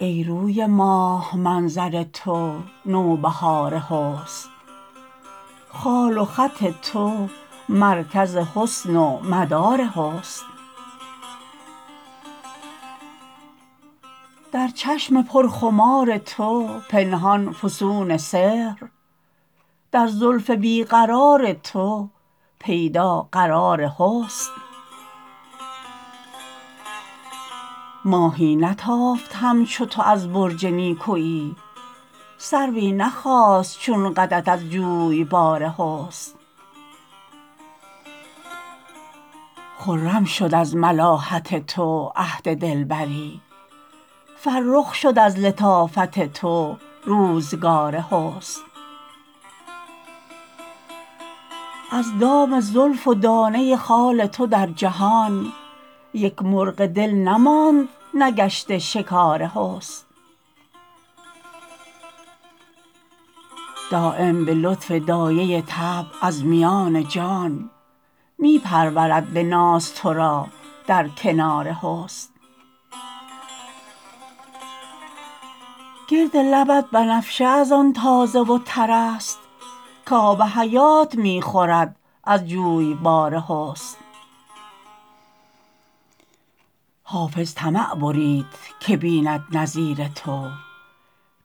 ای روی ماه منظر تو نوبهار حسن خال و خط تو مرکز حسن و مدار حسن در چشم پرخمار تو پنهان فسون سحر در زلف بی قرار تو پیدا قرار حسن ماهی نتافت همچو تو از برج نیکویی سروی نخاست چون قدت از جویبار حسن خرم شد از ملاحت تو عهد دلبری فرخ شد از لطافت تو روزگار حسن از دام زلف و دانه خال تو در جهان یک مرغ دل نماند نگشته شکار حسن دایم به لطف دایه طبع از میان جان می پرورد به ناز تو را در کنار حسن گرد لبت بنفشه از آن تازه و تر است کآب حیات می خورد از جویبار حسن حافظ طمع برید که بیند نظیر تو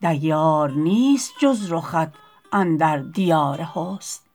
دیار نیست جز رخت اندر دیار حسن